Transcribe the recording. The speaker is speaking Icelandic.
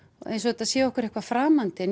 eins og þetta sé okkur eitthvað framandi en